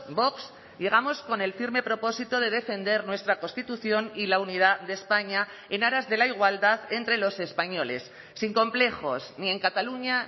vox llegamos con el firme propósito de defender nuestra constitución y la unidad de españa en aras de la igualdad entre los españoles sin complejos ni en cataluña